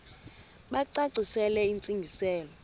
bacacisele intsi ngiselo